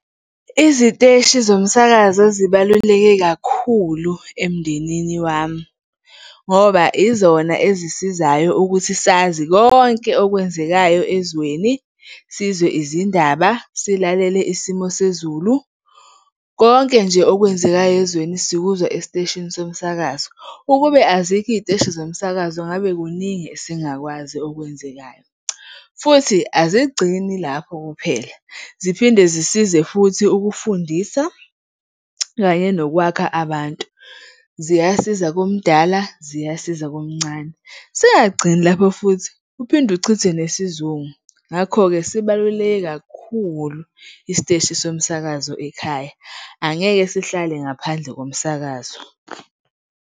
Iziteshi zomsakazo zibaluleke kakhulu emndenini wami ngoba izona ezisizayo ukuthi sazi konke okwenzekayo ezweni, sizwe izindaba, silalele isimo sezulu. Konke nje okwenzekayo ezweni sikuzwa esiteshini somsakazo. Ukube azikho iy'teshi zomsakazo ngabe kuningi esingakwazi okwenzekayo. Futhi azigcini lapho kuphela, ziphinde zisize futhi ukufundisa kanye nokwakha abantu, ziyasiza komdala, ziyasiza komncane. Singagcini lapho, futhi uphinde uchithe nesizungu. Ngakho-ke, sibaluleke kakhulu isiteshi somsakazo ekhaya, angeke sihlale ngaphandle komsakazo.